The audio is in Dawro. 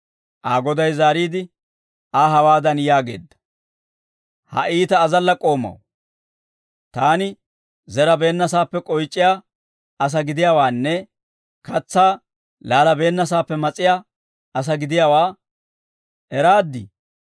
«Aa goday zaariide, Aa hawaadan yaageedda; ‹Ha iita azalla k'oomaw, taani zerabeennasaappe k'oyc'iyaa asaa gidiyaawaanne katsaa laalabeennasaappe mas'iyaa asaa gidiyaawaa eraaddii?